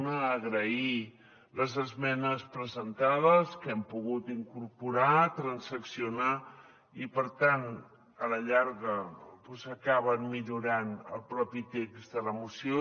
una agrair les esmenes presentades que hem pogut incorporar transaccionar i per tant a la llarga doncs acaben millorant el propi text de la moció